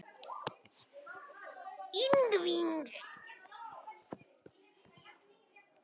Ingvi Rafn Guðmundsson, ekki látinn í friði Hefurðu skorað sjálfsmark?